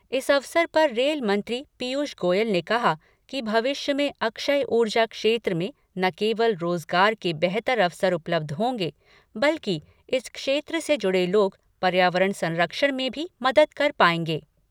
इस अवसर पर रेल मंत्री पीयूष गोयल ने कहा कि भविष्य में अक्षय ऊर्जा क्षेत्र में न केवल रोजगार के बेहतर अवसर उपलब्ध होंगे बल्कि इस क्षेत्र से जुड़े लोग पर्यावरण संरक्षण में भी मदद कर पाएंगे।